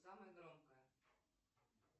самая громкая